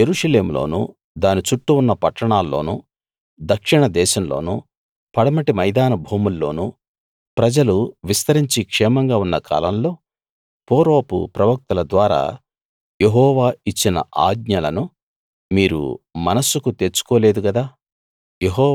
యెరూషలేములోనూ దాని చుట్టూ ఉన్న పట్టణాల్లోనూ దక్షిణ దేశంలోనూ పడమటి మైదాన భూముల్లోను ప్రజలు విస్తరించి క్షేమంగా ఉన్న కాలంలో పూర్వపు ప్రవక్తల ద్వారా యెహోవా ఇచ్చిన ఆజ్ఞలను మీరు మనస్సుకు తెచ్చుకో లేదు గదా